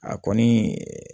A kɔni